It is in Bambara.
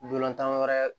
Dolantan wɛrɛ